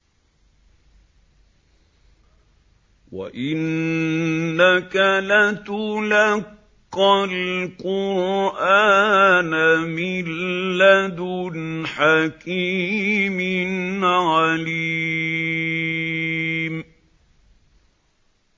وَإِنَّكَ لَتُلَقَّى الْقُرْآنَ مِن لَّدُنْ حَكِيمٍ عَلِيمٍ